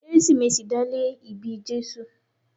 Kérésìmesì dá lé ìbí Jésù.